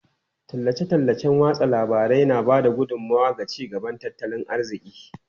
Tallace-tallacen watsa labarai na ba da gudummawa ga ci gaban tattalin arziki.